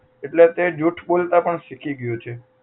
એટલે તે જૂઠ બોલતા પણ શીખી ગયો છે